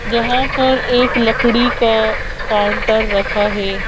जहाँ पर एक लकड़ी का काउंटर रखा हैं।